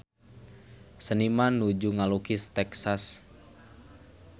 Seniman nuju ngalukis Texas